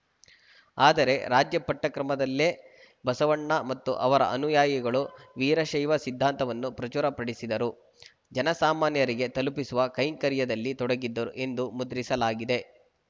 ಆದರೆ ರಾಜ್ಯ ಪಠ್ಯಕ್ರಮದಲ್ಲೇ ಬಸವಣ್ಣ ಮತ್ತು ಅವರ ಅನುಯಾಯಿಗಳು ವೀರಶೈವ ಸಿದ್ಧಾಂತವನ್ನು ಪ್ರಚುರಪಡಿಸಿದರು ಜನಸಾಮಾನ್ಯರಿಗೆ ತಲುಪಿಸುವ ಕೈಂಕರ್ಯದಲ್ಲಿ ತೊಡಗಿದ್ದರು ಎಂದು ಮುದ್ರಿಸಲಾಗಿದೆ